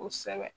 Kosɛbɛ